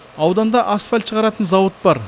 ауданда асфальт шығаратын зауыт бар